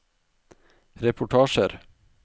reportasjer